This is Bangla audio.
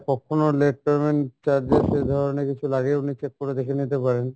কখনো late payment charges এ ধরনের কিছু লাগেও নি check করে দেখে নিতে পারেন।